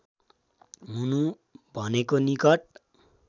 हुनु भनेको निकट